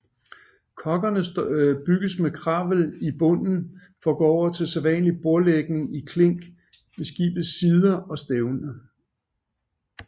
Koggerne byggedes med kravel i bunden for at gå over til sædvanlig bordlægning i klink ved skibets sider og stævne